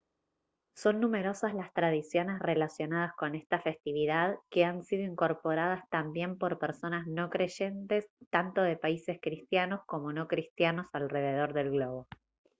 son numerosas las tradiciones relacionadas con esta festividad que han sido incorporadas también por personas no creyentes tanto de países cristianos como no cristianos alrededor del globo